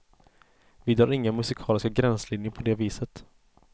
Vi drar inga musikaliska gränslinjer på det viset.